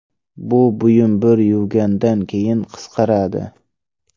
Bu buyum bir yuvgandan keyin qisqaradi.